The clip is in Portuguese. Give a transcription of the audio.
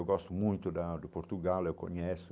Eu gosto muito da do Portugal, eu conheço.